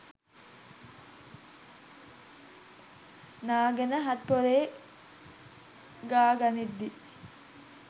නාගෙන හත් පොළේ ගා ගනිද්දී